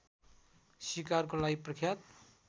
सिकारको लागि प्रख्यात